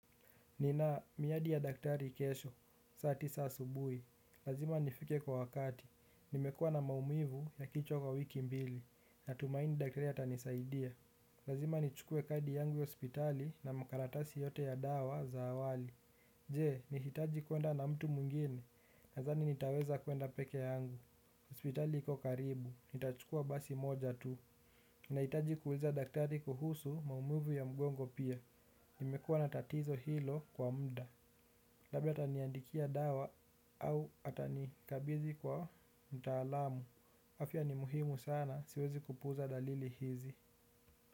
Ninamiadi ya daktari kesho, saa tisa asubuhi, lazima nifike kwa wakati, nimekua na maumivu ya kichwa kwa wiki mbili, natumaini daktari ya anisaidia. Lazima nichukue kadi yangu ya hospitali na makaratasi yote ya dawa za awali. Je, nihitaji kuenda na mtu mungine, nadhani nitaweza kuenda peke yangu, hospitali iko karibu, nitachukua basi moja tu. Nahitaji kuuliza daktari kuhusu maumuvu ya mgongo pia. Nimekuwa na tatizo hilo kwa mda. Labda ataniandikia dawa au atanikabidhi kwa mtaalamu. Afya ni muhimu sana siwezi kupuza dalili hizi.